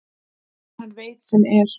En hann veit sem er.